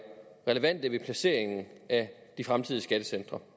relevante ved placeringen af de fremtidige skattecentre